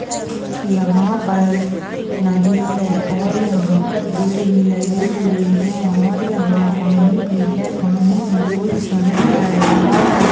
यहाँ पर नदी है और यहाँ पर पेड़ भी लगे हुए है और यहाँ पानी भी है पानी मे कोई --]